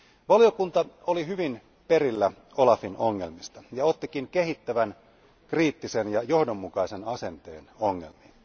Valiokunta oli hyvin perillä OLAFin ongelmista, ja ottikin kehittävän, kriittisen ja johdonmukaisen asenteen ongelmiin.